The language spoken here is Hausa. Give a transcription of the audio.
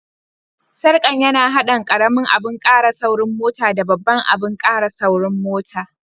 Sarkan ya na hadin karemin abun kara saurin mota da babban abun kara saurin mota.